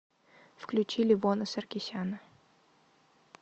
включи левона саркисяна